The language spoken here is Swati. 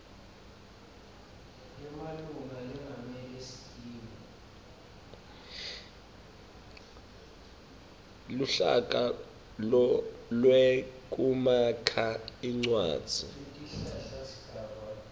luhlaka lwekumakha incwadzi